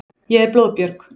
Ég er blóðbjörg.